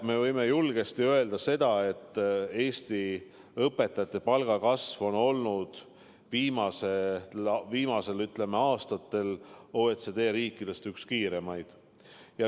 Me võime julgesti öelda, et Eesti õpetajate palga kasv on viimastel aastatel olnud OECD riikide hulgas üks kiiremaid.